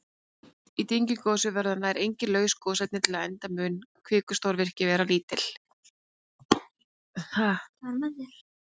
Í dyngjugosum verða nær engin laus gosefni til enda mun kvikustrókavirkni vera lítil.